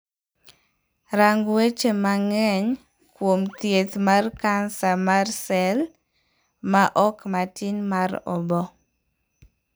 Rang weche mangeny kuom thieth mar kansa mar sel ma ok matin mar oboo.